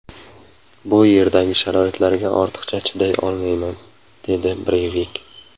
Bu yerdagi sharoitlarga ortiq chiday olmayman”, dedi Breyvik.